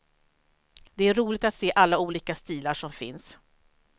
Det är roligt att se alla olika stilar som finns.